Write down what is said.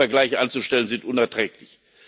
Solche Vergleiche anzustellen ist unerträglich.